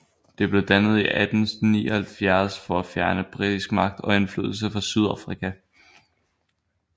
Det blev dannet i 1879 for at fjerne britisk magt og indflydelse fra Sydafrika